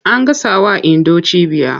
An gasawa Indo cibiya.